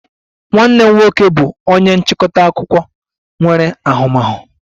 Nwanne m nwoke bụ onye nchịkọta akụkọ nwere ahụmahụ